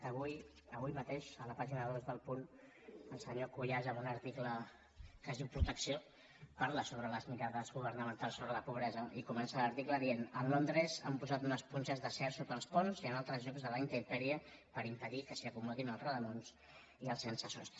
avui avui mateix a la pàgina dos d’el punt el senyor cuyàs en un article que es diu protecció parla sobre les mirades governamentals sobre la pobresa i comença l’article dient a londres han posat unes punxes d’acer sota els ponts i en altres llocs de la intempèrie per impedir que s’hi acomodin els rodamóns i els sense sostre